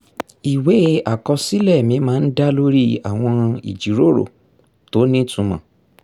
ìwé àkọsílẹ̀ mi máa ń dá lórí àwọn ìjíròrò tó nítumọ̀